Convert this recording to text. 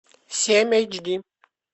семь эйч ди